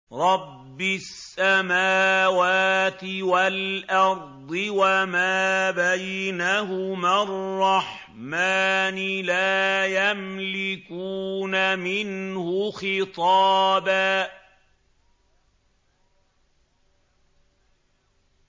رَّبِّ السَّمَاوَاتِ وَالْأَرْضِ وَمَا بَيْنَهُمَا الرَّحْمَٰنِ ۖ لَا يَمْلِكُونَ مِنْهُ خِطَابًا